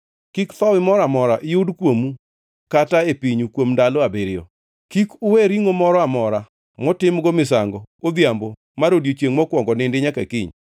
Kik thowi moro amora yud kuomu kata e pinyu kuom ndalo abiriyo. Kik uwe ringʼo moro amora motimgo misango odhiambo mar odiechiengʼ mokwongo nindi nyaka kiny.